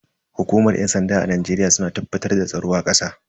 Hukumar yan sanda a Najeriya suna tabbatar da tsaro a kasa.